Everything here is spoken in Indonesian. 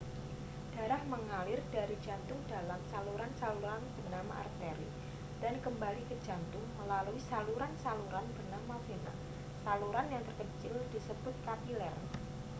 darah mengalir dari jantung dalam saluran-saluran bernama arteri dan kembali ke jantung melalui saluran-saluran bernama vena saluran yang terkecil disebut kapiler